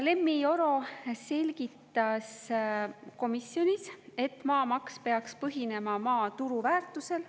Lemmi Oro selgitas komisjonis, et maamaks peaks põhinema maa turuväärtusel.